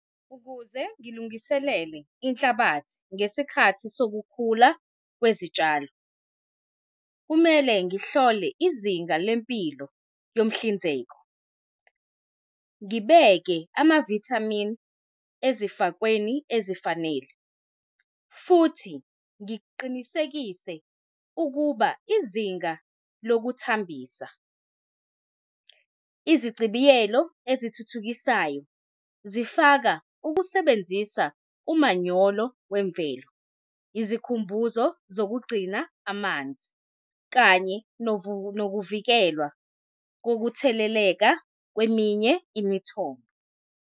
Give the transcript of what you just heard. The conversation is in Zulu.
Ukuze ngilungiselele inhlabathi ngesikhathi sokukhula kwezitshalo, kumele ngihlole izinga lempilo yomhlinzeko, ngibeke amavithamini ezifakweni ezifanele, futhi ngiqinisekise ukuba izinga lokuthambisa izichibiyelo ezithuthukisayo, zifaka ukusebenzisa umanyolo wemvelo, izikhumbuzo zokugcina amanzi, kanye nokuvikelwa kokutheleleka kweminye imithombo.